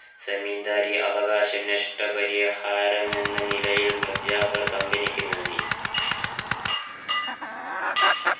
സെമിന്ദാരി അവകാശ നഷ്ടപരിഹാരം എന്ന നിലയിൽ മിർജാഫർ company ക്കു നൽകി